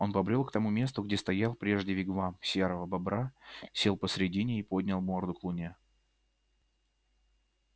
он побрёл к тому месту где стоял прежде вигвам серого бобра сел посредине и поднял морду к луне